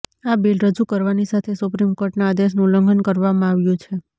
આ બિલ રજૂ કરવાની સાથે સુપ્રીમ કોર્ટના આદેશનું ઉલ્લંઘન કરવામાં આવ્યું છે